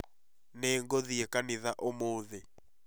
Nĩ ngũthiĩ kanitha ũmũthĩ